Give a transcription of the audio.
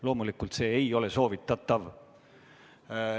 Loomulikult see ei ole soovitatav.